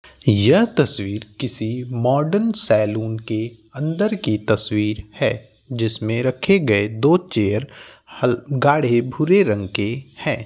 यह तस्वीर किसी माॅडन सैलून के अंदर की तस्वीर है जिसमें रखे गए दो चेयर हॅल गाढ़े भूरे रंग के है।